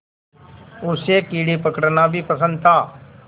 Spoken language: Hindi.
उसे कीड़े पकड़ना भी पसंद था